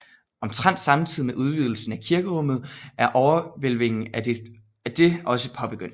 Omtrent samtidig med udvidelsen af kirkerummet er overhvælvingen af det også påbegyndt